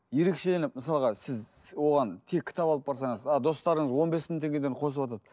ерекшеленіп мысалға сіз оған тек кітап алып барсаңыз ал достарыңыз он бес мың теңгеден қосыватады